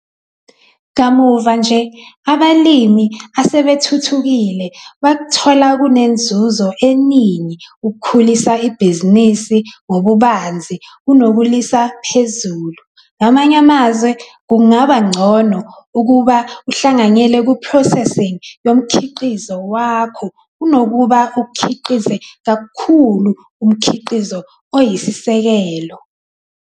Kamuva nje, abalimi asebethuthukile bakuthola kunenzuzo eningi ukukhulisa ibhizinisi ngobubanzi kunokuliyisa phezulu. Ngamanye amazwi, kungaba ngcono ukuba uhlanganyele ku-precessing yomkhiqizo wakho kunokuba ukhiqize kakhulu umkhiqizo oyisisekelo.